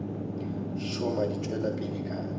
šoma di tšwela pele ka